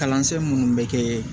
Kalansen minnu bɛ kɛ